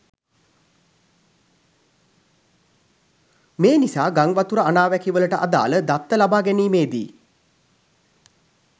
මේනිසා ගංවතුර අනාවැකිවලට අදාළ දත්ත ලබා ගැනීමේදී